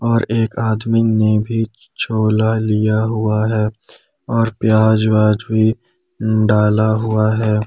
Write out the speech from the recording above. और एक आदमी ने भी छोला लिया हुआ है और प्याज वाज भी डाला हुआ है।